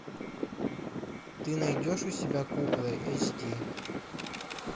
ты найдешь у себя куклы эйч ди